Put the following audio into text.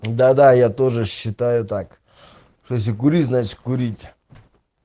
да да я тоже считаю так что если курить значит курить